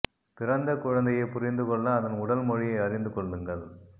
பிறந்த குழந்தையை புரிந்து கொள்ள அதன் உடல் மொழியை அறிந்து கொள்ளுங்கள்